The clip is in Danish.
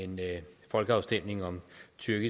tyrkiet